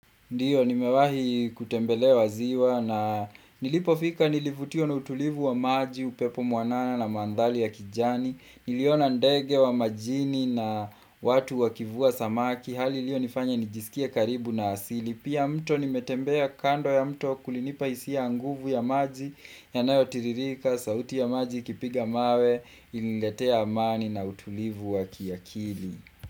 Ndiyo, nimewahi kutembelea ziwa na nilipofika nilivutiwa na utulivu wa maji, upepo mwanana na mandhari ya kijani, niliona ndege wa majini na watu wakivua samaki, hali iliyo nifanya nijisikie karibu na asili. Pia mto nimetembea kando ya mto kulinipa hisia ya nguvu ya maji, yanayo tiririka, sauti ya maji, ikipiga mawe, iliniletea amani na utulivu wa kiakili.